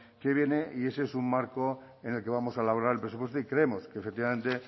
que viene y ese es un marco en el que vamos a elaborar el presupuesto y creemos que efectivamente